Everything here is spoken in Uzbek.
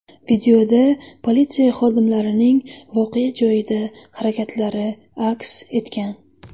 Videoda politsiya xodimlarining voqea joyida harakatlari aks etgan.